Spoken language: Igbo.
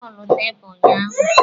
Ee, m gbara bọọlụ tebụl ụnyaahụ.